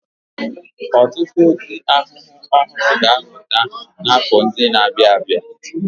Ọtụtụ ụdị ahụhụ ọhụrụ ga-apụta n'afọ ndị na-abịa.